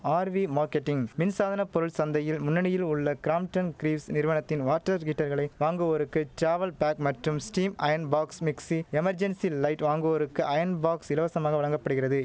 RV marketing மின்சாதன பொருள் சந்தையில் முன்னணியில் உள்ள கிராம்ப்டன் கிரீவ்ஸ் நிறுவனத்தின் வாட்டர் ஹீட்டர்களை வாங்குவோருக்கு ட்ராவல் பேக் மற்றும் steam iron box mixie emergency light வாங்குவோருக்கு அயன் பாக்ஸ் இலவசமாக வழங்க படுகிறது